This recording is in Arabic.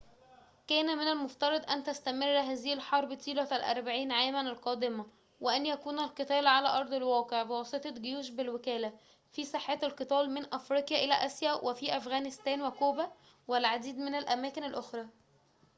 كان من المفترض أن تستمر هذه الحرب طيلة الأربعين عاماً القادمة وأن يكون القتال على أرض الواقع بواسطة جيوش بالوكالة في ساحات القتال من أفريقيا إلى آسيا وفي أفغانستان وكوبا والعديد من الأماكن الأخرى